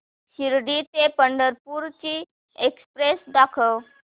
शिर्डी ते पंढरपूर ची एक्स्प्रेस दाखव